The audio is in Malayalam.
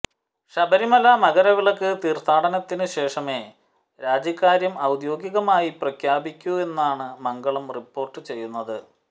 ശബരിമല മകരവിളക്ക് തീർത്ഥാടനത്തിനുശേഷമേ രാജിക്കാര്യം ഔദ്യോഗികമായി പ്രഖ്യാപിക്കൂവെന്നാണ് മംഗളം റിപ്പോർട്ട് ചെയ്യുന്നത്